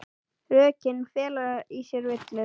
Rökin fela í sér villu.